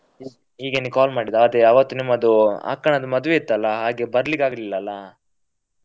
ಹೀಗೇನೇ call ಮಾಡಿದ್ದು ಆವತ್ತು ನಿಮ್ಮದು ಅಕ್ಕನದ್ದು ಮದುವೆ ಇತ್ತಲ್ಲ ಹಾಗೆ ಬರ್ಲಿಕ್ಕೆ ಆಗ್ಲಿಲ್ಲ ಅಲ್ಲಾ.